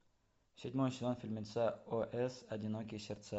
седьмой сезон фильмеца ос одинокие сердца